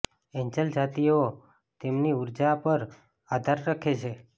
Angel જાતિઓ તેમની ઊર્જા પર આધાર રાખે છે